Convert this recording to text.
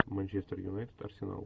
манчестер юнайтед арсенал